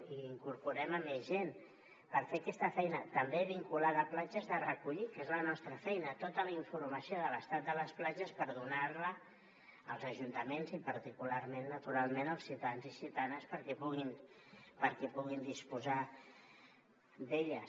i incorporem més gent per fer aquesta feina també vinculada a platges de recollir que és la nostra feina tota la informació de l’estat de les platges per donar la als ajuntaments i particularment naturalment als ciutadans i ciutadanes perquè puguin disposar d’elles